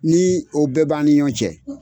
Ni o bɛɛ b'an ni ɲɔn cɛ